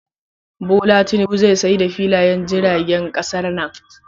Bola Tinubu zai sayar da filayen jiragen kasar nan.